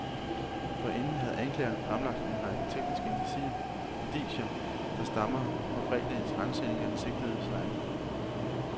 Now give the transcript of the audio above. Forinden havde anklageren fremlagt en række tekniske indicier, der stammer fra fredagens ransagning af den sigtedes lejlighed.